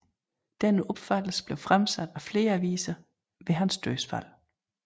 Denne opfattelse blev fremsat af flere aviser ved hans dødsfald